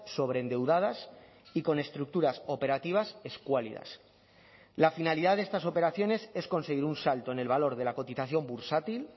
sobreendeudadas y con estructuras operativas escuálidas la finalidad de estas operaciones es conseguir un salto en el valor de la cotización bursátil